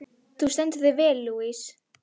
Þú stendur þig vel, Louise!